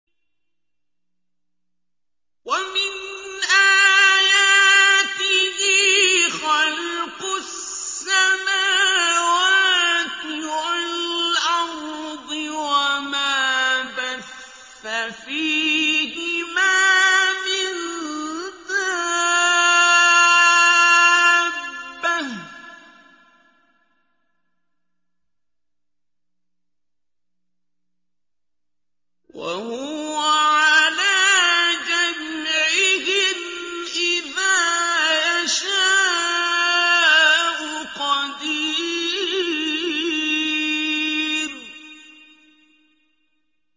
وَمِنْ آيَاتِهِ خَلْقُ السَّمَاوَاتِ وَالْأَرْضِ وَمَا بَثَّ فِيهِمَا مِن دَابَّةٍ ۚ وَهُوَ عَلَىٰ جَمْعِهِمْ إِذَا يَشَاءُ قَدِيرٌ